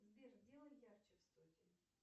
сбер сделай ярче в студии